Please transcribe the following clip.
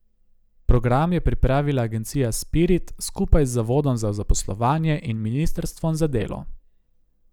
Program je pripravila agencija Spirit skupaj z zavodom za zaposlovanje in ministrstvom za delo.